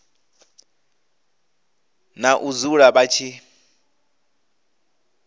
na u dzula vha tshi